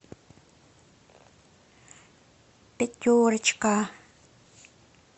пятерочка